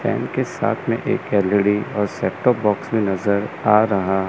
Fan के साथ में एक एल_ई_डी और सेटअप_बॉक्स में नजर आ रहा है।